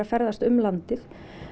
ferðast um landið